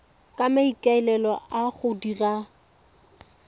ka maikaelelo a go dira